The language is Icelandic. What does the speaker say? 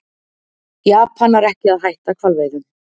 Japanar ekki að hætta hvalveiðum